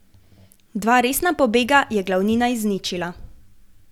Dva resna pobega je glavnina izničila.